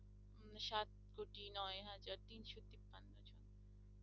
উম সাত কোটি নয় হাজার তিনশো তিপ্পান্ন জন